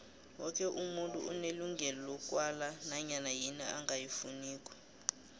woke umuntu unelungelo lokwala nanyana yini angayifuniko